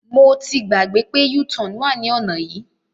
Mo ti gbàgbé pé u-turn wà ní ọ̀nà yìí.